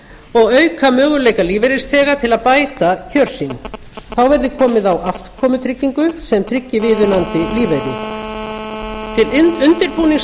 og auka möguleika lífeyrisþega til að bæta kjör sín þá verði komið á afkomutryggingu sem tryggi viðunandi lífeyri til undirbúnings